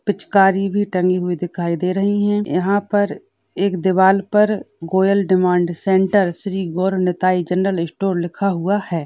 पिचकारी भी टंगी हुई दिखाई दे रही है। यहाँ पर एक दीवाल पर Goyal demand centre Shri Gaur Nitai general store लिखा हुआ है।